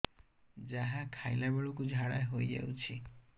ଯାହା ଖାଇଲା ବେଳକୁ ଝାଡ଼ା ହୋଇ ଯାଉଛି